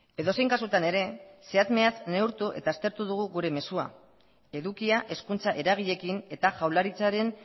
edozein kasutan ere zehatz mehatz neurtu eta aztertu dugu gure mezua edukia hezkuntza eragileekin eta jaurlaritzaren